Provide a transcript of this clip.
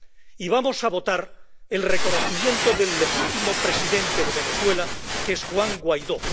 Y vamos a votar el reconocimiento del legítimo presidente de Venezuela, que es Juan Guaidó.